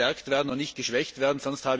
Er muss gestärkt und nicht geschwächt werden.